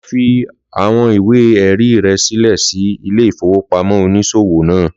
Lọ fi awọn ìwé-ẹ̀rí rẹ sílẹ̀ sí ilé ìfowópamọ́ oniṣowo naa.